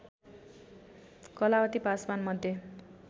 कलावती पासवान मध्ये